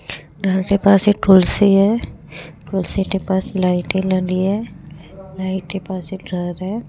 घर के पास एक तुलसी है तुलसी के पास लाइटें लगी है लाईट के पास एक घर है।